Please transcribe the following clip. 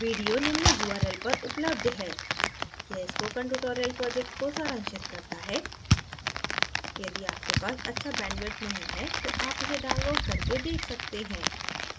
video निम्न url पर उपलब्ध है: